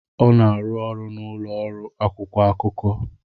Ọ na-arụ ọrụ na ụlọ ọrụ akwụkwọ akụkọ.